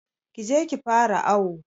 Kije ki fara awo